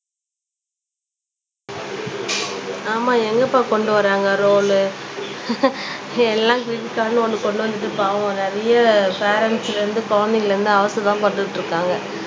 ஆமா எங்கப்பா கொண்டு வர்றாங்க ரூல் எல்லாம் கிரெடிட் கார்டுன்னு ஒண்ணு கொண்டு வந்தது பாவம் நிறைய பேரெண்ட்ஸ்ல இருந்து குழந்தைங்கள்ல இருந்து அவஸ்ததான் பட்டுட்டு இருக்காங்க